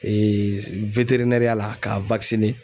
ya la ka